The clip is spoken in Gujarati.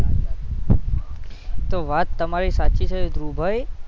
તો વાત તમારી સાચી છે ધ્રુવ ભાઈ